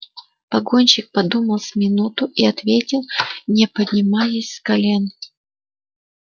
погонщик подумал с минуту и ответил не поднимаясь с колен